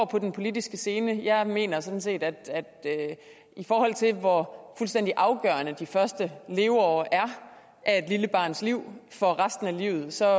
på den politiske scene jeg mener sådan set at i forhold til hvor fuldstændig afgørende de første leveår af et lille barns liv for resten af livet så